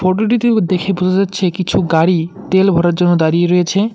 Photo -টিতে দেখে বোঝা যাচ্ছে কিছু গাড়ি তেল ভরার জন্য দাঁড়িয়ে রয়েছে।